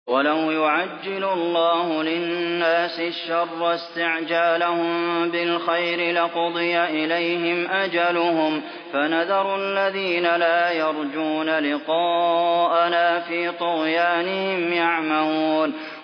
۞ وَلَوْ يُعَجِّلُ اللَّهُ لِلنَّاسِ الشَّرَّ اسْتِعْجَالَهُم بِالْخَيْرِ لَقُضِيَ إِلَيْهِمْ أَجَلُهُمْ ۖ فَنَذَرُ الَّذِينَ لَا يَرْجُونَ لِقَاءَنَا فِي طُغْيَانِهِمْ يَعْمَهُونَ